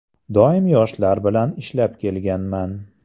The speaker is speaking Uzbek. Doim yoshlar bilan ishlab kelganman.